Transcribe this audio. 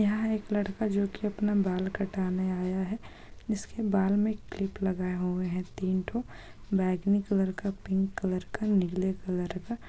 यहाँ एक लड़का जो की अपना बाल कटाने आया है इसके बाल मै क्लिप लगाया हुआ है तीन टो बैगनी कलर का पिंक कलर का नीले कलर का।